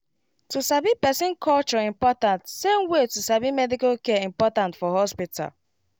to sabi person culture important same way to sabi medical care important for hospital